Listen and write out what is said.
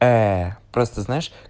просто знаешь